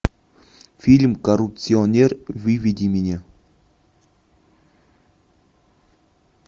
фильм коррупционер выведи мне